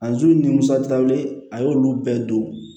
ni musaka wele a y'olu bɛɛ don